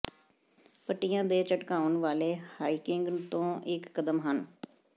ਪੱਟੀਆਂ ਦੇ ਝਟਕਾਉਣ ਵਾਲੇ ਰਾਈਕਿੰਗ ਤੋਂ ਇੱਕ ਕਦਮ ਹਨ